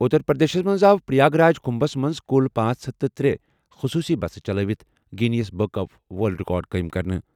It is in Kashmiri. اُتر پرٛدیشس منٛز آو پریاگ راج کُمبھَس منٛز کُل پانژھ ہتھ تہٕ ترے خصوٗصی بسہٕ چلٲوِتھ Guinness book of world record قٲیِم کرنہٕ۔